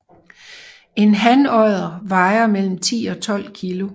En hanodder vejer mellem 10 og 12 kg